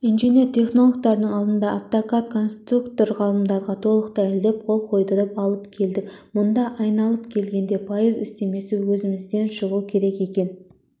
инженер-технологтардың алдында автокад конструктор ғалымдарға толық дәлелдеп қол қойдырып алып келдік мұнда айналып келгенде пайыз үстемесі өзімізден шығу керек екен